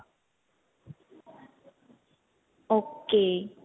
ok